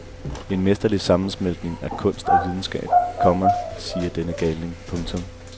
En mesterlig sammensmeltning af kunst og videnskab, komma siger denne galning. punktum